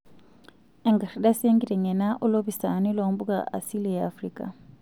Enkardasi enkiteng'ena oo lopisaani loo mpuka asili e Afrika.